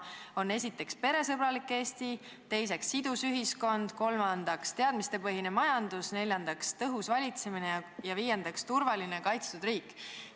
Need on esiteks peresõbralik Eesti, teiseks sidus ühiskond, kolmandaks teadmistepõhine majandus, neljandaks tõhus valitsemine ja viiendaks turvaline, kaitstud riik.